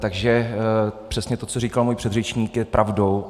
Takže přesně to, co říkal můj předřečník, je pravdou.